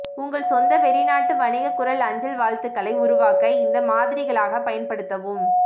உங்கள் சொந்த வெளிநாட்டு வணிக குரல் அஞ்சல் வாழ்த்துக்களை உருவாக்க இந்த மாதிரிகளாக பயன்படுத்தவும்